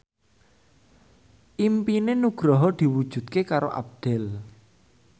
impine Nugroho diwujudke karo Abdel